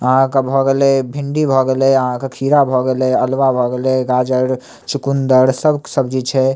आहां के भ गेले भिंडी भ गेले आहां के खीरा भ गेले अलुहा भ गेले गाजर चुकुंदर सब सब्जी छै।